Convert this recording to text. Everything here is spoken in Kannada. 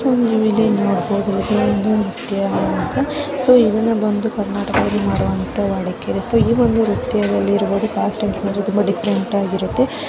ನೀವಿಲ್ಲಿ ನೋಡಬಹುದು ಒಂದು ನೃತ್ಯವಂತ ಸೋ ಇದನ್ನ ಬಂದು ಕರ್ನಾಟಕ ದಲ್ಲಿ ಮಾಡುವಂತ ಸೊ ಈ ಒಂದು ನ್ರಿತ್ಯದಲ್ಲಿ ಇರುವುದು ಕಾಸ್ಟ್ ತುಂಬಾ ಡಿಫರೆಂಟ್ ಆಗಿರುತ್ತೆ